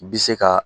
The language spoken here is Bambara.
Bi se ka